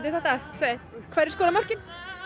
sagt það tvö eitt hverjir skora mörkin